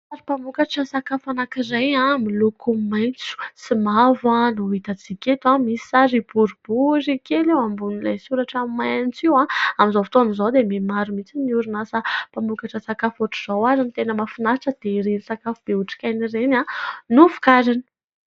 Sary mpamokatra sakafo anankiray miloko maitso sy mavo no hitantsika eto, misy sary boribory kely eo ambonin'ilay soratra maitso io ; amin'izao fotaona izao dia mihamaro mihitsy ny orinasa mpamokatra sakafo ohatran'izao ary ny tena mahafinaritra dia ireny sakafo be otrikaina ireny no vokariny.